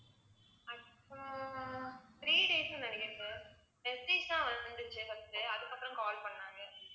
actual ஆ three days ன்னு நினைக்கிறேன் sir வந்துச்சு first உ அதுக்கப்புறம் call பண்ணாங்க